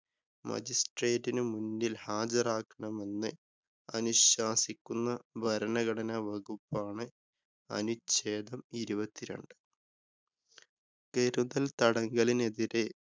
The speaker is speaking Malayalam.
മജിസ്ട്രേറ്റിനു മുന്നില്‍ ഹാജരാക്കണമെന്ന് അനുശാസിക്കുന്ന ഭരണഘടനാ വകുപ്പാണ് അനുച്ഛേദം ഇരുപത്തിരണ്ട്. കരുതല്‍ തടങ്കലിനെതിരെ